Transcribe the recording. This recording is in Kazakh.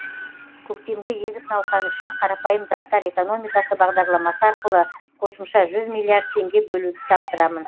көктемгі егіс науқаны үшін қарапайым заттар экономикасы бағдарламасы арқылы қосымша жүз миллиард теңге бөлуді тапсырамын